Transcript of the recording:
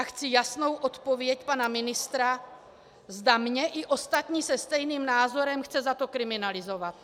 A chci jasnou odpověď pana ministra, zda mě i ostatní se stejným názorem chce za to kriminalizovat.